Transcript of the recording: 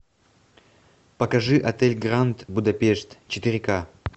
покажи отель гранд будапешт четыре ка